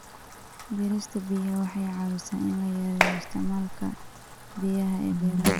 Beerista biyaha waxay caawisaa in la yareeyo isticmaalka biyaha ee beeraha.